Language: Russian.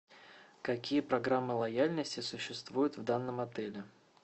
какие программы лояльности существуют в данном отеле